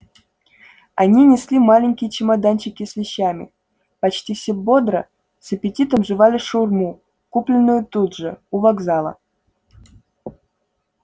они несли маленькие чемоданчики с вещами почти все бодро с аппетитом жевали шаурму купленную тут же у вокзала